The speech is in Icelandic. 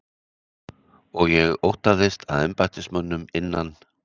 Og ég óttaðist að embættismönnum innan